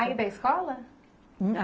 a escola?